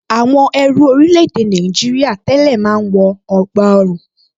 Àwọn ẹrú orílẹ̀-èdè Nàìjìrìà tẹ́lẹ̀ máa ń wọ ègbá ọrùn